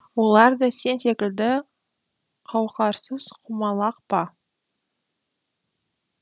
олар да сен секілді қауқарсыз құмалақ па